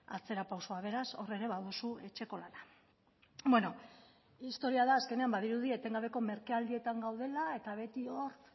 atzerapausoa beraz hor ere baduzu etxeko lanak bueno historia da azkenean badirudi etengabe merkealdietan gaudela eta beti hor